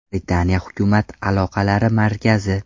Britaniya hukumat aloqalari markazi.